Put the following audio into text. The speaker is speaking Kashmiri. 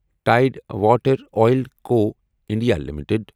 tide water oil co India limited